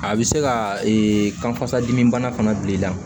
A bɛ se ka kanfasa dimi bana fana bil'i la